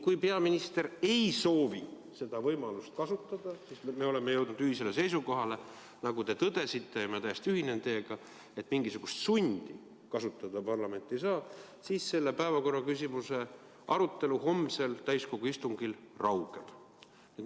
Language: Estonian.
Kui peaminister ei soovi seda võimalust kasutada – me oleme jõudnud ühisele seisukohale, nagu te tõdesite ja ma täiesti ühinen teiega, et parlament mingisugust sundi kasutada ei saa –, siis selle päevakorraküsimuse arutelu homsel täiskogu istungil raugeb.